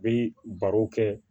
Bɛ baro kɛ